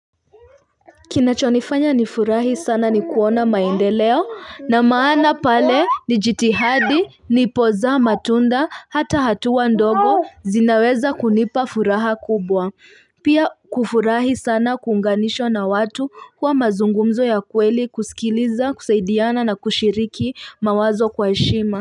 Kinachonifanya nifurahi sana ni kuona maendeleo na maana pale nijitihidi, nipoza, matunda, hata hatua ndogo zinaweza kunipa furaha kubwa. Pia kufurahi sana kuunganishwa na watu kwa mazungumzo ya kweli kusikiliza, kusaidiana na kushiriki mawazo kwa heshima.